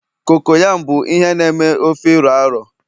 cocoyam bụ ihe na eme ofe iro a ro